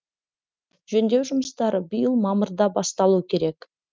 жөндеу жұмыстары биыл мамырда басталу керек